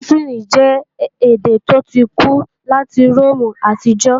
Látìnì jẹ́ èdè tó ti kú láti Róòmù àtijọ́